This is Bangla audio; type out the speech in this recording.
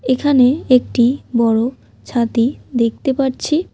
এখানে একটি বড় ছাতি দেখতে পারছি।